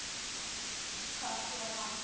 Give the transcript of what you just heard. Og bakkar til hans.